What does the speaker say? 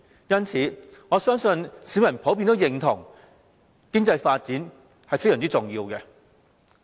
因此，我相信市民普遍認同經濟發展非常重要。